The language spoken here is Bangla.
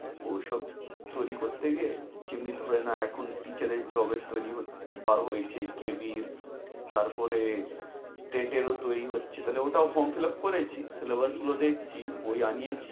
ওইসব তৈরী করতে গিয়ে যেমনি ধরে নাও এখন teacher এর job এর তৈরী হ~ বা~রো হয়েছে, KB এর তারপরে র ও তৈরী হচ্ছে। তাহলে ঐটাও form fillup করেছি, syllabus গুলো দেখছি, বই আনিয়েছি।